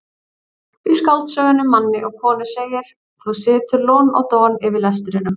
Í skáldsögunni Manni og konu segir: þú situr lon og don yfir lestrinum.